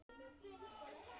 Myrkrið breytir öllu.